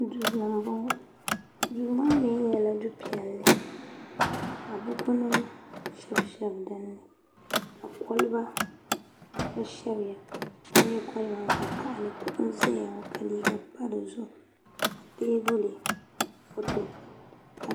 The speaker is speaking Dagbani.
duu ni n bɔŋɔ duu maa mii nyɛla du piɛlli ka buku nim shɛbi shɛbi dinni ka kolba gba shɛbiya ka nyɛ kolba vakaɣali kuɣu n ʒɛya ŋɔ ka liiga pa dizuɣu ka teebuli foto